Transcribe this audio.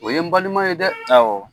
O ye n balima ye dɛ, awɔ.